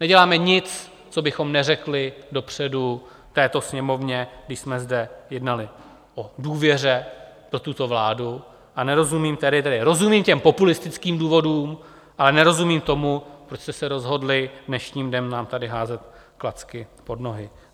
Neděláme nic, co bychom neřekli dopředu této Sněmovně, když jsme zde jednali o důvěře pro tuto vládu, a nerozumím tedy - tedy rozumím těm populistickým důvodům, ale nerozumím tomu, proč jste se rozhodli dnešním dnem nám tady házet klacky pod nohy.